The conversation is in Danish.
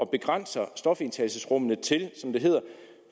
begrænser stofindtagelsesrummene